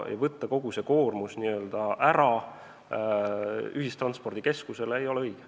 Panna kogu see koormus ühistranspordikeskusele ei ole õige.